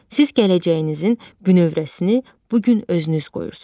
Siz gələcəyinizin bünövrəsini bu gün özünüz qoyursunuz.